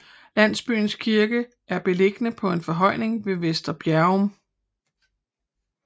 Landsbyens kirke er beliggende på en forhøjning ved Vester Bjerrum